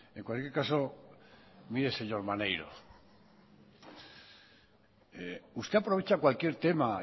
en cualquier caso mire señor maneiro usted aprovecha cualquier tema